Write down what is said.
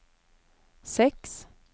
seks